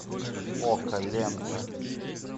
око лента